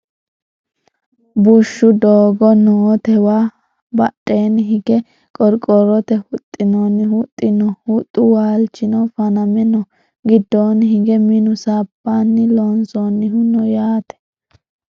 bushshu doogo nootewa badheenni hige qorqorrote huxxinoonni huxxi no huxxu waalchino faname no giddoonni hige minu sabbunni loonsoonnihu no yaate